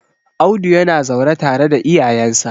Audu yana zaune tare da iyayensa